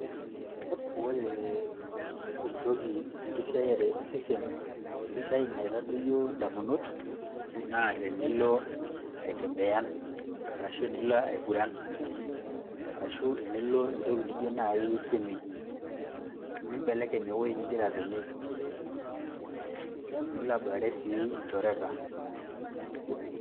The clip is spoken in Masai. ore entoki, enkisiayaire osesen sidai naitadoyio damunot, naa tenilo aitembeyan, arashu enilo aing'uran, arashu enilo entoki naijo naaji swimming pool nibelekeny ewueji nigira atonie, nilo aboitare sii ilchoreta.